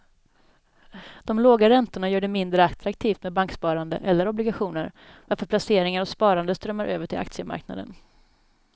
De låga räntorna gör det mindre attraktivt med banksparande eller obligationer varför placeringar och sparande strömmar över till aktiemarknaden.